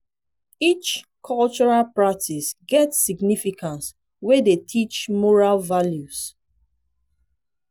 each cultural practice get significance wey dey teach moral values.